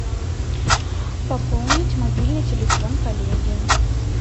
пополнить мобильный телефон коллеги